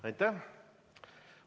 Aitäh!